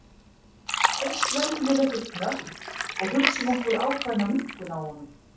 Fyrst veljum við einhvern hnött og hugsum okkur ákveðna minnkun á honum.